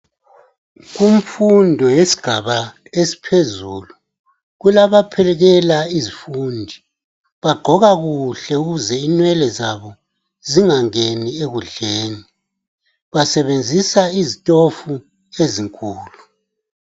Imfundo yesigaba esiphezulu kulabaphekela izifundi . Bagqoka kuhle ukuze inwele zabo zingangeni ekudleni . Basebenzisa izitofu ezinkulu.